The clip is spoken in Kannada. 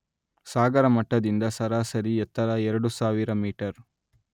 ಸಾಗರ ಮಟ್ಟದಿಂದ ಸರಾಸರಿ ಎತ್ತರ ಎರಡು ಸಾವಿರ ಮೀಟರ್